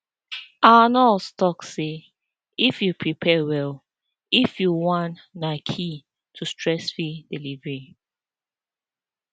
our nurse talk say if you prepare well if you wan na key to stressfree delivery